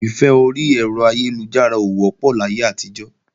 Ìfẹ́ orí ẹ̀rọ ayélujára ò wọ́pọ̀ láyé àtijọ́